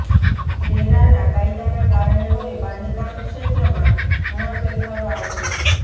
રેરાના કાયદાના કારણે હવે બાંધકામ ક્ષેત્રમાં ઘણા ફેરફારો આવશે